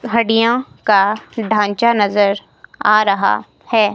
हड्डियों का ढांचा नजर आ रहा है।